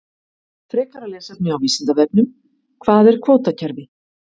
Frekara lesefni á Vísindavefnum: Hvað er kvótakerfi?